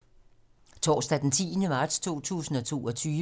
Torsdag d. 10. marts 2022